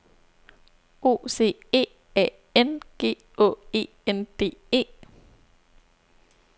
O C E A N G Å E N D E